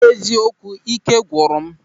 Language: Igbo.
N'eziokwu, ị́ké gwụrụ m.